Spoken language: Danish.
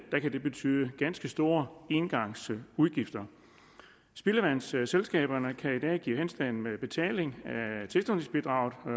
betyde ganske store engangsudgifter spildevandsselskaberne kan i dag give henstand med betalingen